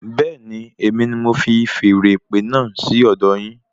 Bẹẹni, èmi ní mo fi feèrè ìpè náà sí ọdọ yín